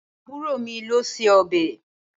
Àbúrò mi ló se ọbẹ̀.